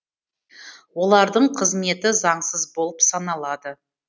олардың қызметі заңсыз болып саналады